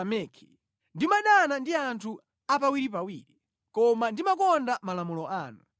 Ndimadana ndi anthu apawiripawiri, koma ndimakonda malamulo anu.